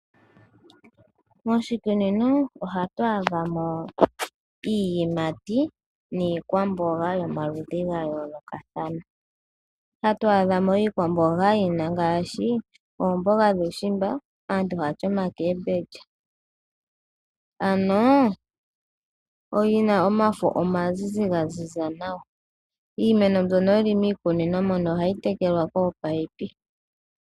Moshikunino oha twaadhamo iiyimati niikwambonga ya yolokathana ngaashi oombonga dhuushimba, dhina omafo omazizi gaziza nawa. Iimeno ndjoka yi li miikunino oha yi tekelwa koopayipi.